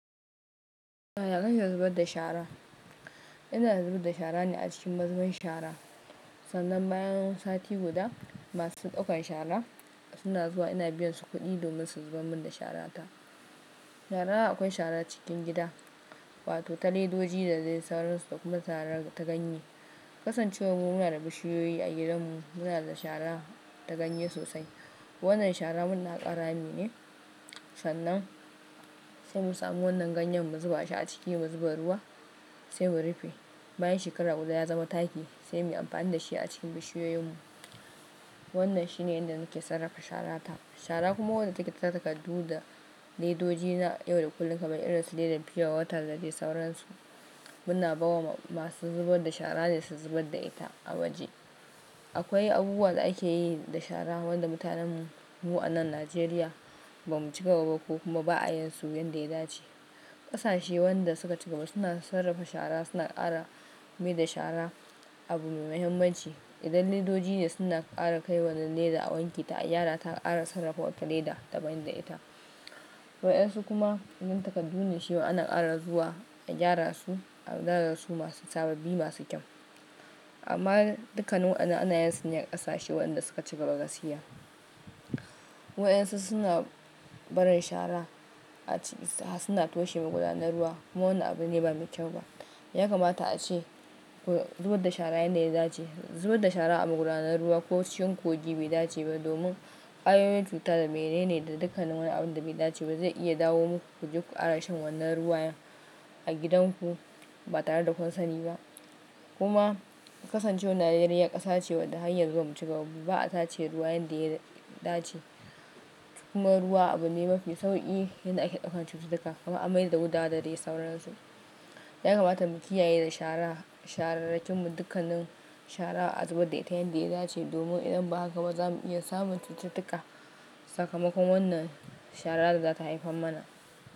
Muna da damar zubar da shara. Ina zubar da shara ne a cikin mazuben shara. Sannan bayan sati guda masu ɗaukan shara suna zuwa ina biyan su kuɗi domin su zubar mun da shara ta. Shara akwai shara cikin gida wato ta ledoji da dai sauransu da kuma shara ta ganye. Kasancewar mu muna da bishiyoyi a gidan mu muna da shara ta ganye sosai. Wannan shara muna haƙa rami ne sannan sai mu samu wannan ganyan mu zuba shi a ciki mu zuba ruwa sai mu rufe. Bayan shekara guda ya zama taki sai mu yi amfani da shi a cikin bishiyoyin mu. Wannan shine inda nake sarrafa shara ta. Shara kuma wanda take ta takardu da ledoji na yau da kullum kaman irin su leda fiye da wata da dai sauransu muna bawa masu zubar da shara ne su zubar da ita a waje. Akwai abubuwan da ake yi da shara wanda mutanen mu anan Najeriya ba mu ci gaba ba ko kuma ba'a yin su yin da ya dace. Ƙasashe wanda suka ci gaba suna sarrafa shara suna ƙara mi da shara abu mai muhimmanci. Idan ledoji ne suna ƙara kai wannan leda a wanke ta, a gyara ta ƙara sarrafa wata leda da ban da ita. Waƴansu kuma yin takardu ne shi ma ana ƙara zuwa a gyara su a gyara su masu sababbi masu kyau. Amma dukkanin wannan ana yin su ne a ƙasashe wanda suka ci gaba gaskiya. Waƴansu suna barin shara a ci suna toshe magudanar ruwa kuma wannan abu ne ba mai kyau ba. Ya kamata ace zubar da shara yan da ya dace. Zubar da shara a magudanar ruwa ko cikin kogi bai dace ba domin ƙwayoyin cuta da menene da dukkanin waƴannan abun da bai dace ba zai iya dawo muku ku jiƙu ara shan wannan ruwa a gidan ku ba tare da kunsani ba. Kuma kasancewar Najeriya ƙasa ce wadda har yanzu bamu cigaba ba ba'a tace ruwa yan da ya dace. Kuma ruwa abu ne mafi sauƙi inda ake ɗaukan cututtuka kamar an mai da gudawa da dai sauransu. Ya kamata mu kiyaye da shara shahararrakin mu dukkanin shara a zubar da ita yin da ya dace domin idan ba haka ba za mu iya samun cututtuka sakamakon wannan shara da za ta haifen mana.